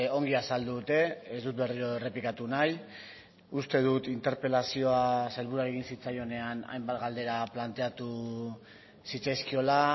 ongi azaldu dute ez dut berriro errepikatu nahi uste dut interpelazioak sailburuari egin zitzaionean hainbat galdera planteatu zitzaizkiola